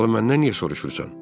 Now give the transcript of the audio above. Salı məndən niyə soruşursan?